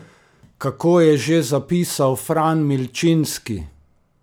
Kako je že zapisal Fran Milčinski?